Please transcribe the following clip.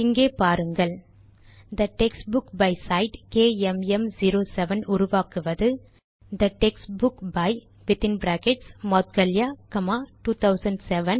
இங்கே பாருங்கள் the text book by சைட் கேஎம்எம்07 உருவாக்குவது the text book by Moudgalya 2007ப்